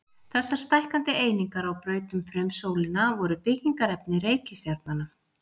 Þessar stækkandi einingar á braut um frumsólina voru byggingarefni reikistjarnanna.